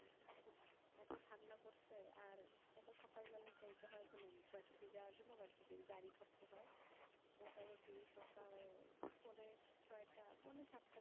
এত ঠান্ডা পড়ছে আর এত সকাল বেলায় যাইতে হয় মানে university যাওয়ার জন্য university র গাড়ি ধরতে হয়। মোটামুটি সকাল পোনে ছয়টা পোনে সাতটা